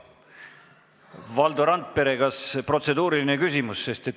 Valdo Randpere, kas teil on protseduuriline küsimus?